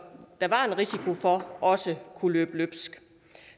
der var en risiko for også kunne løbe løbsk